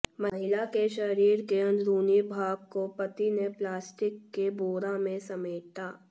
महिला के शरीर के अंदरूनी भाग को पति ने प्लास्टिक के बोरा में समेटा